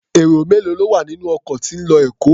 Èrò mélòó ló wà nínú ọkọ̀ tí ń lọ Èkó?